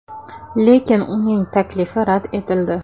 Lekin uning taklifi rad etildi.